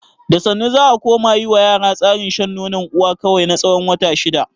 Da sannu za a koma yi ma yara tsarin shan nonon uwa kawai na tsawon wata shida.